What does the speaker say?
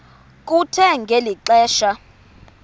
kuthe ngeli xesha